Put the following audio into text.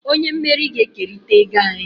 Onye mmeri ga-ekerịta ego anyị.